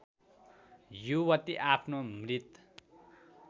युवती आफ्नो मृत